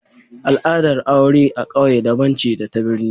Al'adar aure a ƙauye daban ce da ta birni